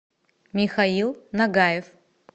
михаил нагаев